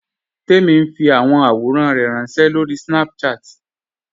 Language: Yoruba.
Tẹ̀mi n fi awọn awòrán rẹ ránṣẹ̀ lórí Snapchat.